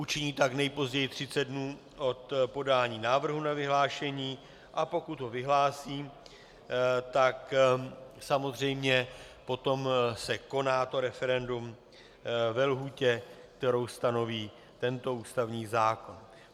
Učiní tak nejpozději 30 dnů od podání návrhu na vyhlášení, a pokud ho vyhlásí, tak samozřejmě potom se koná to referendum ve lhůtě, kterou stanoví tento ústavní zákon.